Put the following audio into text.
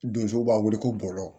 Donsow b'a wele ko bɔlɔ